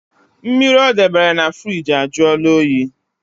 Mmiri ọ debere na firigi ajụọla oyi